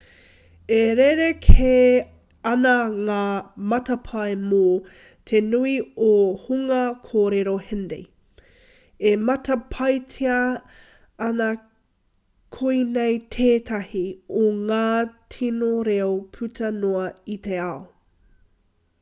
e rerekē ana ngā matapae mō te nui o te hunga kōrero hindi e matapaetia ana koinei tētahi o ngā tino reo puta noa i te ao